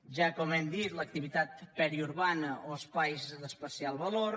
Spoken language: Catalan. ja com hem dit l’activitat periurbana o espais d’especial valor